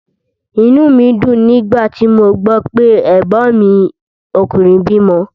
Inú mí dùn nígbà tí mo gbó pé ẹ̀gbọ́n mi ọkùnrin bímo